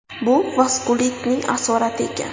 Bu vaskulitning asorati ekan.